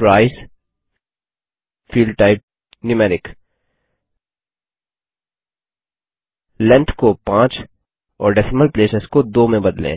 price field type numeric length को 5 और decimal places को 2 में बदलें